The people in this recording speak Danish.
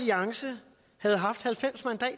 jeg sætter